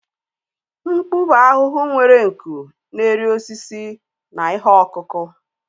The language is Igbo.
Mkpu bụ ahụhụ nwere nku na-eri osisi na ihe ọkụkụ